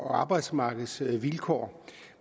og arbejdsmarkedsvilkår